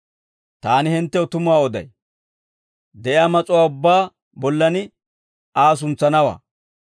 Taani hinttew tumuwaa oday; de'iyaa mas'uwaa ubbaa bollan Aa suntsanawaa.